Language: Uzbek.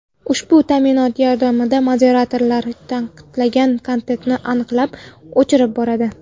Ushbu ta’minot yordamida moderatorlar taqiqlangan kontentni aniqlab, o‘chirib boradi.